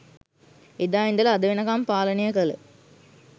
එදා ඉදලා අද වෙනකම් පාලනය කල